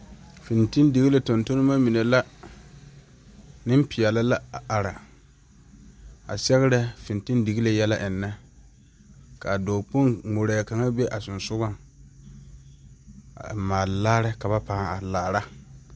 Fintildigilii tontonnema mine la neŋpeɛɛle la are a sɛgerɛ fintildigilii yɛlɛ eŋnɛ kaa dɔɔ Kpoŋ ngmorɛɛ kaŋa be a ba sengsugɔŋ a maale laare ka pãã are laara.